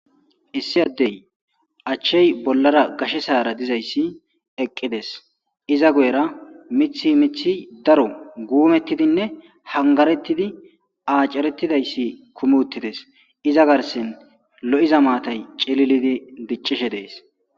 Issi addey achchey bollara gashe saara dizayssi eqqides iza goyera mithi mithi daro guumettidinne hangarettidi aacarettidayssi kumuttides iza garsen lo'iza maatay celilidi diccishe dees